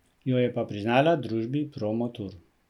Jo je pa priznala družbi Promotur.